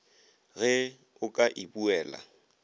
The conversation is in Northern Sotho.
ge o ka e buela